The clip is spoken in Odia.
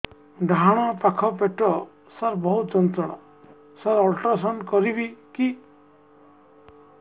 ଡାହାଣ ପାଖ ପେଟ ସାର ବହୁତ ଯନ୍ତ୍ରଣା ସାର ଅଲଟ୍ରାସାଉଣ୍ଡ କରିବି କି